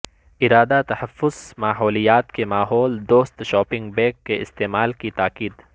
ادارہ تحفظ ماحولیات کی ماحول دوست شاپنگ بیگ کے استعمال کی تاکید